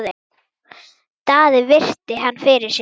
Daði virti hann fyrir sér.